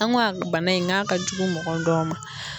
An go a bana in n g'a ka jugu mɔgɔ dɔw ma